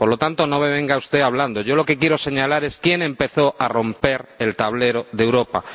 Por lo tanto, no me venga usted hablando de eso. Yo lo que quiero señalar es quién empezó a romper el tablero de Europa.